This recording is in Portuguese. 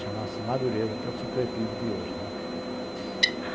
Chamava-se Madureza, que é o supletivo de hoje.